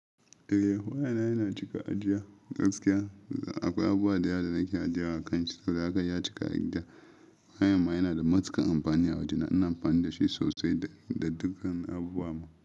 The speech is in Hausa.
Eh wayana yana cika ajiya. Gaskiya akwai abuwa dayawa da nake ajiya a kan shi, saboda haka ya cika ajiya. Wayan ma yana da matukar amfani a waje, na amfani da shi sosai da dukkan abuwa ma.